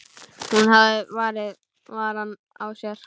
Hún hafði varann á sér.